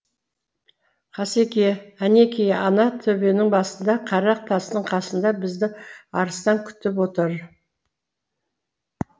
қасеке әнеки ана төбенің басында қара тастың қасында бізді арыстан күтіп отыр